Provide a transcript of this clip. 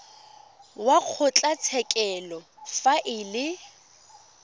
wa kgotlatshekelo fa e le